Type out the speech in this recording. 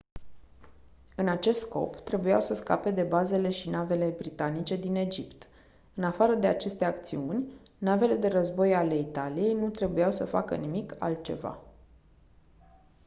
în acest scop trebuiau să scape de bazele și navele britanice din egipt în afară de aceste acțiuni navele de război ale italiei nu trebuiau să facă nimic altceva